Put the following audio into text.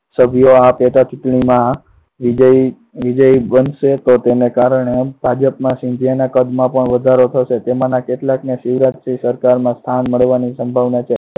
આ પેટા ચુંટણીમાં વિજયી બનશે પણ તેના કારણે ભાજપમાં સિંધિયાના કદમાં પણ વધારો થશે જેમાં કેટલાકને શિવરાજસિંહ સરકારમાં સ્થાન મળવાની સંભાવના છે.